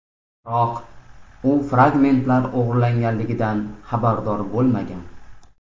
Biroq u fragmentlar o‘g‘irlanganligidan xabardor bo‘lmagan.